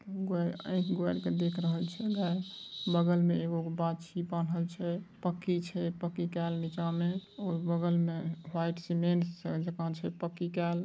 देख रहल छे गाय | बगल में एगो क बाछी बांधल छे| पक्की छे पक्की केल नीचा में और बगल में वाइट सीमेंट से छे गल--